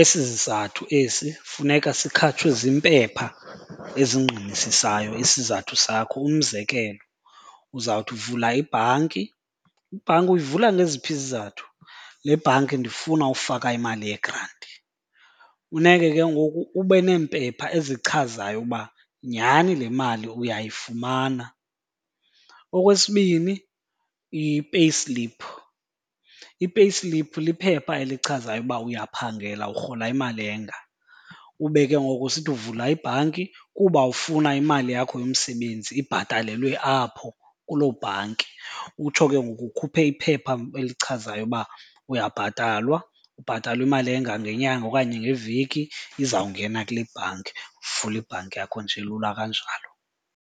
Esi zizathu esi funeka sikhatshwe ziimpepha ezingqinisisayo isizathu sakho. Umzekelo uzawuthi uvula ibhanki. Ibhanki uyivula ngeziphi izizathu? Le bhanki ndifuna ufaka imali yegranti. Funeke ke ngoku ube neempepha ezichazayo ukuba nyhani le mali uyayifumana. Okwesibini i-payslip, i-payslip liphepha elichazayo uba uyaphangela urhola imali enga. Ube ke ngoku usithi uvula ibhanki kuba ufuna imali yakho yomsebenzi ibhatalelwe apho kuloo bhanki. Utsho ke ngoku ukhuphe iphepha elichazayo uba uyabhatalwa, ubhatalwa imali enga ngenyanga okanye ngeveki izawungena kule bhanki. Uvule ibhanki yakho nje lula kanjalo.